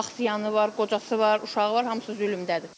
Axsiyaanı var, qocası var, uşağı var, hamısı zülmümdədir.